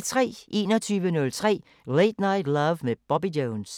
21:03: Late Night Love med Bobby Jones